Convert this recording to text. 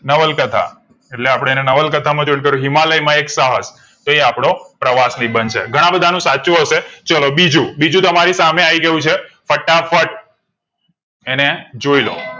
નવલકથા એટલે અને આપડે નવલાકથા join કરીયું હિમાલય માં એક સાહસ તો એ આપડો પ્રવાસી બનશે ઘણાં બંધનું સાચ્ચું હશે ચલો બીજું બીજું તમે સામે આઈગયું છે ફટાફટ એને જોઈલો